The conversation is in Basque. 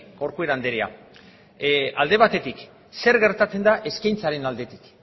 corcuera andrea alde batetik zer gertatzen da eskaintzaren aldetik